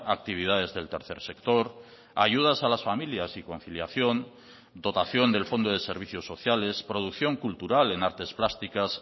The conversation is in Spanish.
actividades del tercer sector ayudas a las familias y conciliación dotación del fondo de servicios sociales producción cultural en artes plásticas